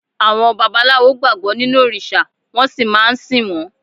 Àwọn babaláwo gbàgbọ́ nínú òrìṣà wọ́n sì máa ń sìn wọ́n.